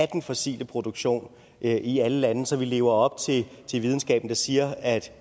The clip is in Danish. den fossile produktion i alle lande så vi lever op til videnskaben der siger at